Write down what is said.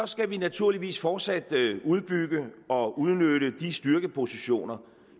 skal vi naturligvis fortsat udbygge og udnytte de styrkepositioner